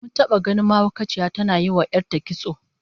Mun taba ganin mahaukaciya tana yinwa 'yar ta kitso